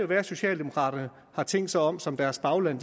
være at socialdemokraterne har tænkt sig om som deres bagland